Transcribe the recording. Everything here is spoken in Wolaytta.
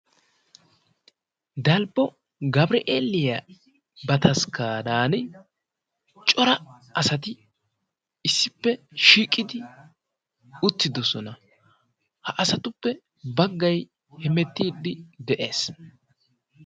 Dalbo gabri'eeliyaa bataskkaaran cora asati issippe shiiqidi uttidosona ha asatuppe baggay hemettiidi de'ees